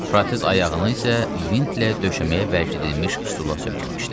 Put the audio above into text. Protez ayağını isə vintlə döşəməyə bərkidilmiş stula söykəmişdi.